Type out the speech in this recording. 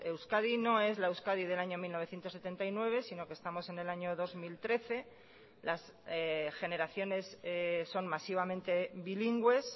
euskadi no es la euskadi del año mil novecientos setenta y nueve sino que estamos en el año dos mil trece las generaciones son masivamente bilingües